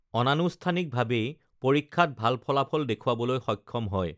অনানুষ্ঠানিকভা‌ৱেই পৰীক্ষাত ভাল ফলাফল দেখু‌ৱাবলৈ সক্ষম হয়